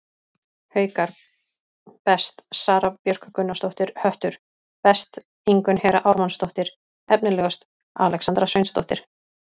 Haukar: Best: Sara Björk Gunnarsdóttir Höttur: Best: Ingunn Hera Ármannsdóttir Efnilegust: Alexandra Sveinsdóttir